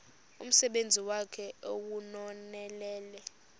umsebenzi wakhe ewunonelele